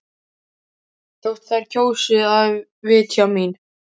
Þótt þær kjósi að vitja mín.